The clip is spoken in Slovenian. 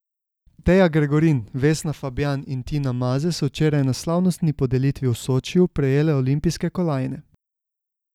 Teja Gregorin, Vesna Fabjan in Tina Maze so včeraj na slavnostni podelitvi v Sočiju prejele olimpijske kolajne.